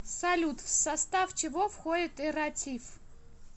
салют в состав чего входит эрратив